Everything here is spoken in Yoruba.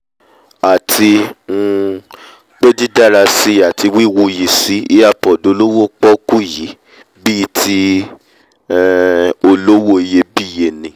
àti um pé dídárasí ati wíwuyìsí earpod olówó pọ́ọ́kú yìí bíi ti um olówó iyebíye ni